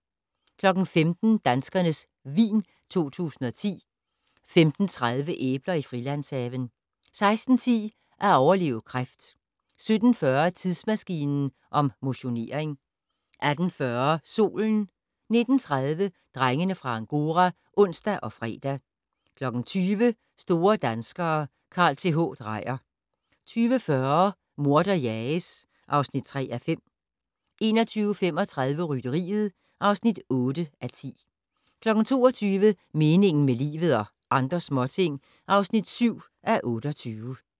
15:00: Danskernes vin 2010 15:30: Æbler i Frilandshaven 16:10: At overleve kræft 17:40: Tidsmaskinen om motionering 18:40: Solen 19:30: Drengene fra Angora (ons og fre) 20:00: Store danskere - Carl Th. Dreyer 20:40: Morder jages (3:5) 21:35: Rytteriet (8:10) 22:00: Meningen med livet - og andre småting (7:28)